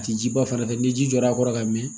A tɛ jiba fan fɛ ni ji jɔra a kɔrɔ ka mɛn